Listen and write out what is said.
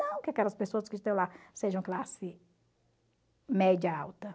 Não que aquelas pessoas que estão lá sejam classe média alta.